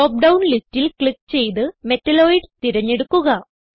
drop down ലിസ്റ്റിൽ click ചെയ്ത് metalloids തിരഞ്ഞെടുക്കുക